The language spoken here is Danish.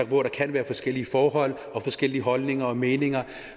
hvor der kan være forskellige forhold og forskellige holdninger og meninger